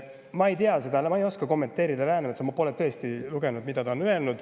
Ma ei oska kommenteerida Läänemetsa, ma tõesti pole lugenud, mida ta on öelnud.